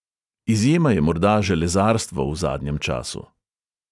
Izjema je morda železarstvo v zadnjem času.